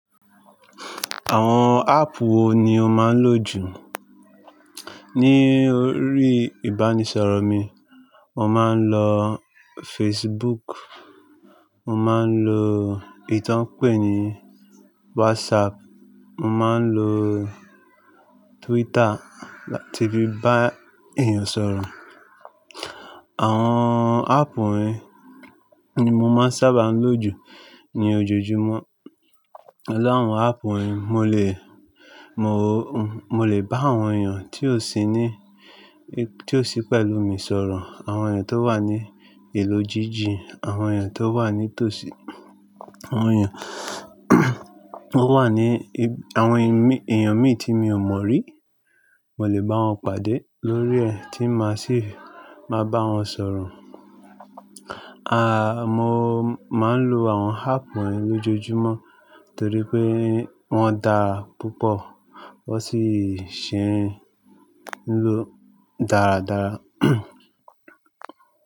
Àwọn áàpù wo ni o máa ń lò jù? Ní orí ìbánisọ̀rọ̀ mi, mo máa ń lo Facebook, mo máa ń lo ntá pèé ní WhatsApp, mo máa ń lo Twitter láti bá èèyàn sọ̀rọ̀. Àwọn áàpù wọ̀nyí ni mo máa ń sábà lò jù ní ojoojúmọ́. Lẹ́ẹ̀wọ́ àwọn áàpù wọ̀nyí, mo lè, mo lè bá àwọn èèyàn tí ó sí ní, tí ó sí pẹ̀lú mi sọ̀rọ̀, àwọn èèyàn tó wà ní ìlú jíjìn, àwọn èèyàn tó wà ní tòsí, àwọn èèyàn tó wà ní, àwọn èèyàn mi tí mi ò mọ̀ rí, mo lè bá wọn pàdé lórí ẹ̀ tí ma sì máa bá wọn sọ̀rọ̀. Àà, mo máa ń lo àwọn áàpù wọ̀nyí lójoojúmọ́ torí pé wọ́n da púpọ̀, wọ́n sì ṣe é lò dáradára.